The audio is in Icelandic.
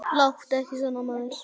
Láttu ekki svona, maður.